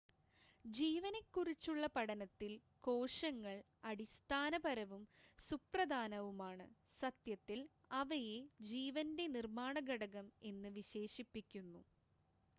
"ജീവനെക്കുറിച്ചുള്ള പഠനത്തിൽ കോശങ്ങൾ അടിസ്ഥാനപരവും സുപ്രധാനവുമാണ് സത്യത്തിൽ അവയെ "ജീവൻ്റെ നിർമ്മാണ ഘടകം" എന്ന് വിശേഷിപ്പിക്കുന്നു.